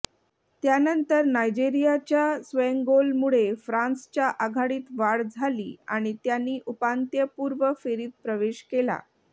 त्यानंतर नायजेरियाच्या स्वयंगोलमुळे फ्रान्सच्या आघाडीत वाढ झाली आणि त्यांनी उपांत्यपूर्व फेरीत प्रवेश केला